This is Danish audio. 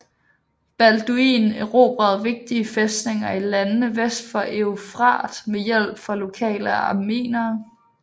Balduin erobrede vigtige fæstninger i landene vest for Eufrat med hjælp fra lokale armenere